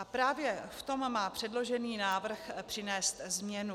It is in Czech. A právě v tom má předložený návrh přinést změnu.